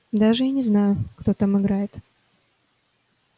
даже и не знаю кто там играет